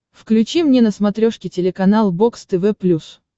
включи мне на смотрешке телеканал бокс тв плюс